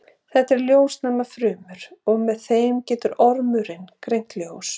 þetta eru ljósnæmar frumur og með þeim getur ormurinn greint ljós